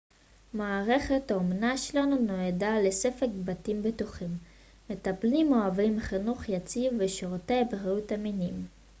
מערכת האומנה שלנו נועדה לספק בתים בטוחים מטפלים אוהבים חינוך יציב ושירותי בריאות אמינים